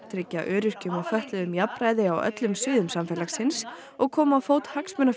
tryggja öryrkjum og fötluðum jafnræði á öllum sviðum samfélagsins og koma á fót